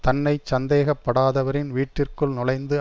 தன்னை சந்தேகப்படாதவரின் வீட்டிற்குள் நுழைந்து